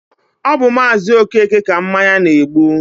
ọ bụ Maazi Okeke ka mmanya na-egbu.